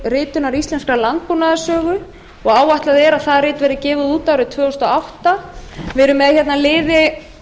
ritunar íslenskrar landbúnaðarsögu og áætlað er að það rit verði gefið út árið tvö þúsund og átta við erum með liði á